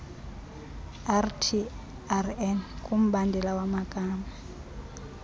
rtrn kumbandela wamagama